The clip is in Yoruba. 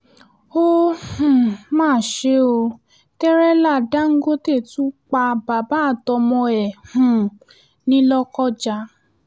ó um mà ṣe ò tẹ̀rẹ́lá dàńgọ́tẹ̀ tún pa bàbá àtọmọ ẹ̀ um ní lọ́kọjá